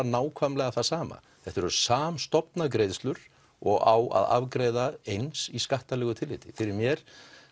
nákvæmlega sama þetta eru samstofna greiðslur og á að afgreiða eins í skattalegu tilliti fyrir mér